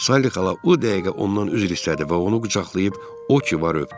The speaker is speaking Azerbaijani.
Salli xala o dəqiqə ondan üzr istədi və onu qucaqlayıb o ki var öpdü.